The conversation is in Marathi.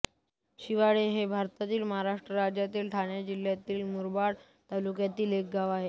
शिवाळे हे भारतातील महाराष्ट्र राज्यातील ठाणे जिल्ह्यातील मुरबाड तालुक्यातील एक गाव आहे